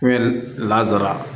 Hɛri lasara